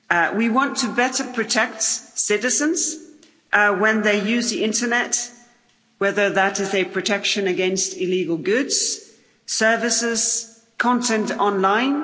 We want to better protect citizens when they use the internet, whether that is in protection against illegal goods, services, content online.